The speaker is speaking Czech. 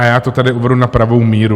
A já to tady uvedu na pravou míru.